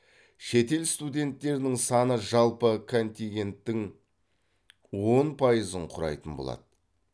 шетел студенттерінің саны жалпы контигенттің он пайызын құрайтын болады